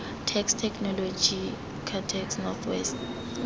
text technology ctext north west